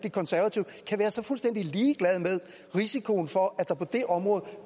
konservative kan være så fuldstændig ligeglade med risikoen for at der på det område